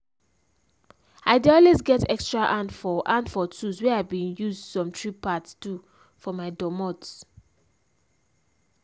i dey always get extra hand for hand for tools where i bin use some tree parts do for my dormot.